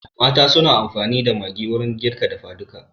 Mata suna amfani da Maggi wurin girka dafa duka